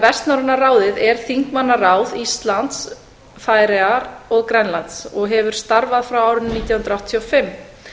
vestnorræna ráðið er þingmannaráð íslands færeyja og grænlands og hefur starfað frá árinu nítján hundruð áttatíu og